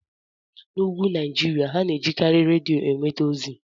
N'úgwù Naijiria, ha na-ejikarị redio enweta ozi.